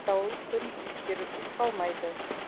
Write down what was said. бірақ атаулы күн ескерусіз қалмайды